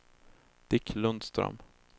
Dick Lundström